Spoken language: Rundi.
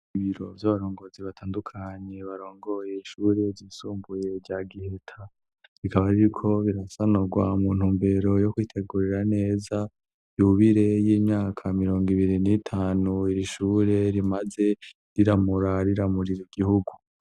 Ibiro vy'abarongozi batandukanye barongoye ishure ryisumbuye rya Giheta, bikaba biriko rirasanurwa mu ntu mbero yo kwitegurira neza, yubire y'imyaka mirongo ibiri n'itanu iri shure rimaze, riramura riramurira igihugu.